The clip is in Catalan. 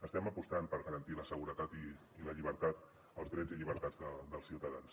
estem apostant per garantir la seguretat i la llibertat els drets i llibertats dels ciutadans